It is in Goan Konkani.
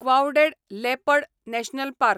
clouded leopard national park